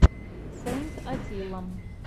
сэйнт атилла